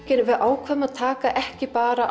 við ákváðum að taka ekki bara